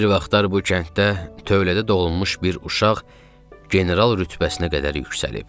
Bir vaxtlar bu kənddə tövlədə doğulmuş bir uşaq general rütbəsinə qədər yüksəlib.